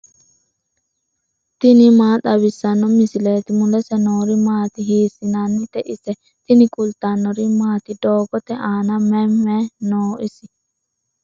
tini maa xawissanno misileeti ? mulese noori maati ? hiissinannite ise ? tini kultannori maati? doogotte aanna mayi mayi noo isi?